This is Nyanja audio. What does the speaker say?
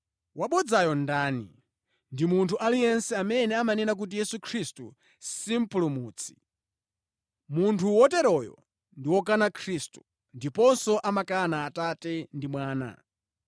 Wabodzayo ndani? Ndi munthu aliyense amene amanena kuti Yesu si Mpulumutsi. Munthu woteroyo ndi wokana Khristu, ndiponso amakana Atate, ndi Mwana.